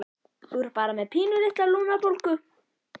Þú ert bara með pínulitla lungnabólgu